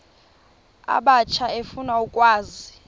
abatsha efuna ukwazi